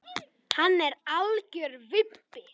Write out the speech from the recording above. Hann er algjör vibbi.